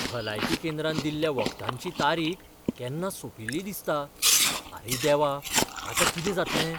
भलायकी केंद्रान दिल्ल्या वखदांची तारीख केन्ना सोंपिल्ली दिसता. आरे देवा, आतां कितें जातलें?